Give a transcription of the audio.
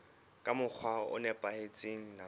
ka mokgwa o nepahetseng nakong